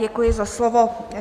Děkuji za slovo.